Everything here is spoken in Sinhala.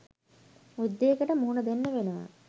යුද්ධයකට මුහුණ දෙන්න වෙනව